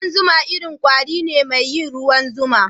Kudan zuma irin kwari ne mai yin ruwan zuma.